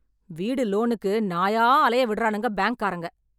வீடு லோனுக்கு நாயா அலைய விட்றானுங்க பேங்க் காரங்க.